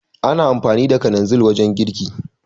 Ana amfani da kalanzin wajen girki